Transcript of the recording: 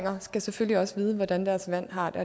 skal selvfølgelig også vide hvordan deres vand har det